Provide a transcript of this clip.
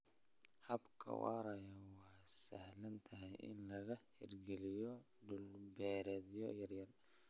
Hababka waaraya waa sahlan tahay in laga hirgeliyo dhul-beereedyo yaryar.